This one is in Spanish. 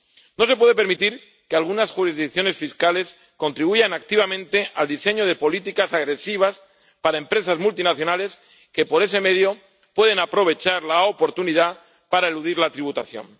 No se puede permitir que algunas jurisdicciones fiscales contribuyan activamente al diseño de políticas agresivas para empresas multinacionales que, por ese medio, pueden aprovechar la oportunidad para eludir la tributación.